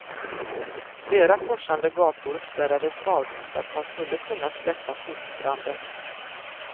Flera korsande gator spärrades av för att man skulle kunna släcka sopbranden.